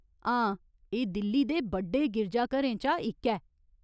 हां, एह् दिल्ली दे बड्डे गिरजाघरें चा इक ऐ।